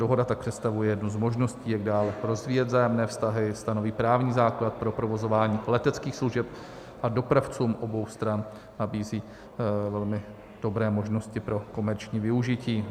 Dohoda tak představuje jednu z možností, jak dále rozvíjet vzájemné vztahy, stanoví právní základ pro provozování leteckých služeb a dopravcům obou stran nabízí velmi dobré možnosti pro komerční využití.